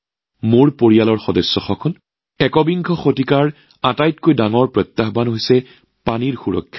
মোৰ পৰিয়ালৰ সদস্যসকল একবিংশ শতিকাৰ অন্যতম ডাঙৰ প্ৰত্যাহ্বান হৈছে জল সুৰক্ষা